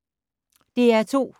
DR2